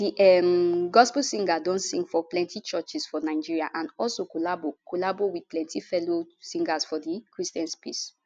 di um gospel singer don sing for plenti churches for nigeria and also collabo collabo wit plenti fellow singers for di christian space